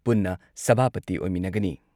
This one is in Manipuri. ꯄꯨꯟꯅ ꯁꯚꯥꯄꯇꯤ ꯑꯣꯏꯃꯤꯟꯅꯒꯅꯤ꯫